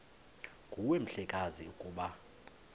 nguwe mhlekazi ukuba